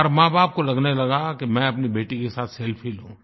हर माँबाप को लगने लगा कि मैं अपनी बेटी के साथ सेल्फी लूँ